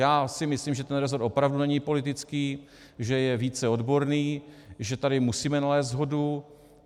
Já si myslím, že ten rezort opravdu není politický, že je více odborný, že tady musíme nalézt shodu.